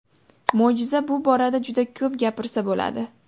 Mo‘jiza Bu borada juda ko‘p gapirsa bo‘ladi.